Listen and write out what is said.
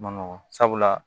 Ma nɔgɔ sabula